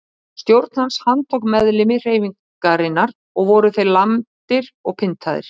Stjórn hans handtók meðlimi hreyfingarinnar og voru þeir lamdir og pyntaðir.